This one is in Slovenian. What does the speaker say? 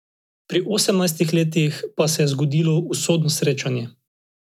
Pri osemnajstih letih pa se je zgodilo usodno srečanje.